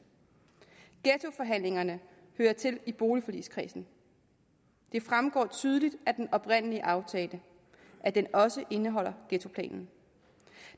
ghettoforhandlingerne hører til i boligforligskredsen det fremgår tydeligt af den oprindelige aftale at den også indeholder ghettoplanen